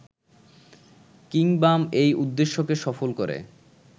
কিংবাম এই উদ্দেশ্যকে সফল করে